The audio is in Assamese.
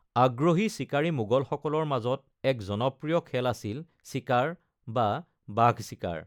আগ্ৰহী চিকাৰী, মোগলসকলৰ মাজত এক জনপ্ৰিয় খেল আছিল চিকাৰ বা বাঘ-চিকাৰ।